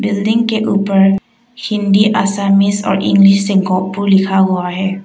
Building के ऊपर हिंदी आसामी और इंग्लिश से गोहपुर लिखा हुआ है।